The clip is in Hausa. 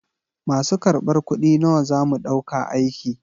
Masu kar ɓar kuɗi nawa zamu ɗauka aiki?